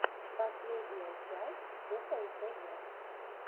последняя часть кукол тв